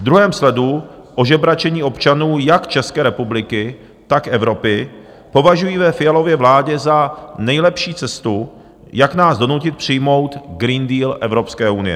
V druhém sledu ožebračení občanů jak České republiky, tak Evropy považují ve Fialově vládě za nejlepší cestu, jak nás donutit přijmout Green Deal Evropské unie.